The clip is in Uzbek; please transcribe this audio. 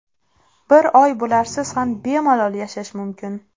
Bir oy bularsiz ham bemalol yashash mumkin.